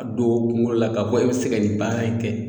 A don o kungolo la k'a fɔ e be se ka nin baara in kɛ